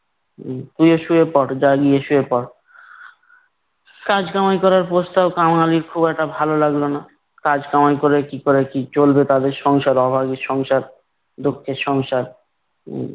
হম গিয়ে শুয়ে পড় যা গিয়ে শুয়ে পড়। কাজ কামাই করার প্রস্তাব কাঙালির খুব একটা ভালো লাগলো না। কাজ কামাই করে কি করে কি চলবে তা দিয়ে সংসার অভাবী সংসার, দুঃখের সংসার। হম